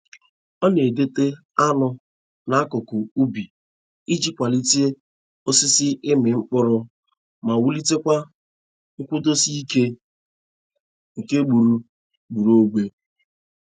Ọ na-edote añụ n'akụkụ ubi iji kwalite osisi ịmị mkpụrụ ma wulitekwa nkwudosi ike nke gburu gburuogbe.